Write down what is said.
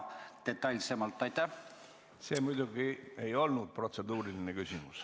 See muidugi ei olnud protseduuriline küsimus.